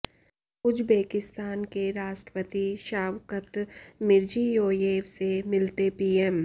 Uzbekistan के राष्ट्रपति Shavkat Mirziyoyev से मिलते पीएम